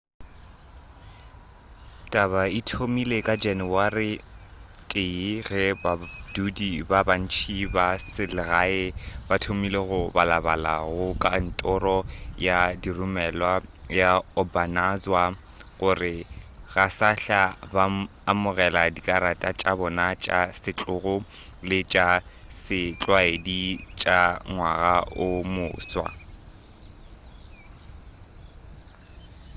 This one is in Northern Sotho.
taba e thomile ka janawari 1 ge badudi ba bantši ba selegae ba thomile go balabalela go kantoro ya diromelwa ya obanazawa gore ga sahla ba amogela dikarata tša bona tša setlogo le tša setlwaedi tša ngwaga o moswa